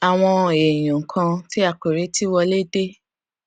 àwọn èèyàn kan tí a kò retí wọlé dé